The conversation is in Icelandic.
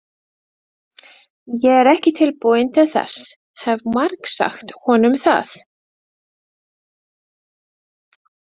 Ég er ekki tilbúin til þess, hef margsagt honum það.